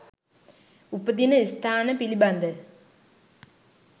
උපදින ස්ථාන පිළිබඳ